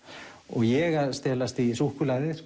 ég að stelast í súkkulaðið